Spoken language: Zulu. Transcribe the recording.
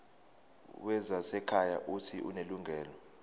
wezasekhaya uuthi unelungelo